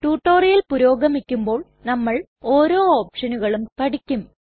tutorial പുരോഗമിക്കുമ്പോൾ നമ്മൾ ഓരോ ഒപ്ഷനുകളും പഠിക്കും